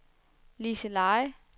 Liseleje